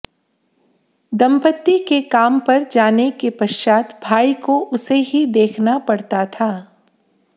दंपति के काम पर जाने के पश्चात भाई को उसे ही देखना पड़ता था